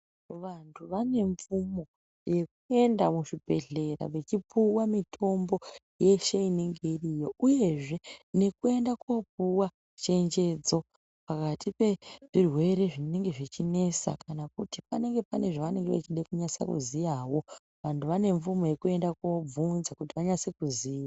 Vantu vane mvumo nyekuenda muzvibhehlera vechipuwa mutombo yeshe iriyo uyezve nyekuenda kopuwa chenjedzo pakati pezvirwere zvinenge zvichinesa kana kuti panenge pane zvavanenge echida kunyaso ziyawi, vandu vane mvumo yekuenda kobvunza kuti vanyase kuziva....